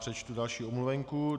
Přečtu další omluvenku.